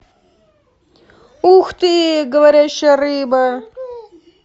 ух ты говорящая рыба